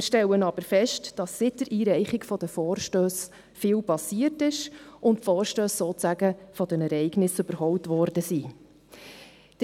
Wir stellen aber fest, dass seit der Einreichung der Vorstösse viel passiert ist und die Vorstösse sozusagen von den Ereignissen überholt worden sind.